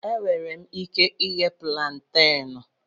Enwere m ike ighe púlanténú